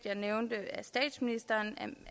af statsministeren